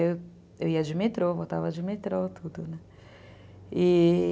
Eu, eu ia de metrô, voltava de metrô, e...